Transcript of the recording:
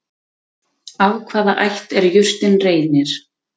Af hvaða ætt er jurtin Reynir?